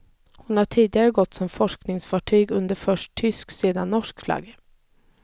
Hon har tidigare gått som forskningsfartyg under först tysk och sedan norsk flagg.